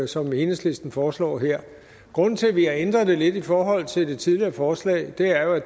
som enhedslisten foreslår her grunden til vi har ændret det lidt i forhold til det tidligere forslag er jo at